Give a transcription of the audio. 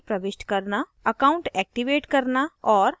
user की जानकारी प्रविष्ट करना account एक्टिवेट करना और